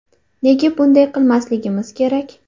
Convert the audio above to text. Nega bunday qilmasligimiz kerak?